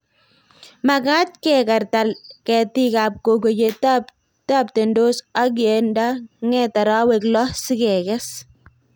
Magat kekarta ketik ab koko ye taptandos ak ye nda nget arawek loo si kekkes